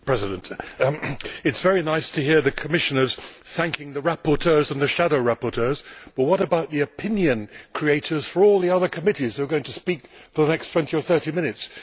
Mr President, it is very nice to hear the Commissioners thanking the rapporteurs and the shadow rapporteurs, but what about the opinion creators for all the other committees who are going to speak for the next 20 or 30 minutes?